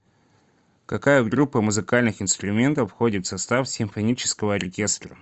какая группа музыкальных инструментов входит в состав симфонического оркестра